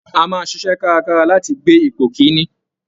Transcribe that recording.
A máa ṣiṣẹ́ kárakára láti gbé ipò kìn-ín-ní